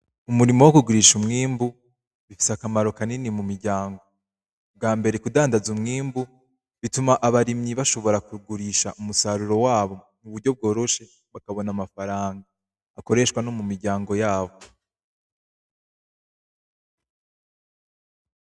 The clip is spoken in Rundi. Umurimo w' kugurisha umwimbu bifise akamaro kanini mu miryango bwa mbere kudandaza umwimbu bituma abarimyi bashobora kugurisha umusaruro wabo m'uburyo bworoshe bakabona amafaranga akoreshwa no mu miryango yabo.